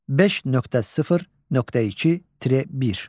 5.0.2.1.